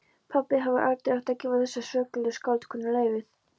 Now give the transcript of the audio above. Pabbi hefði aldrei átt að gefa þessari svokölluðu skáldkonu leyfið.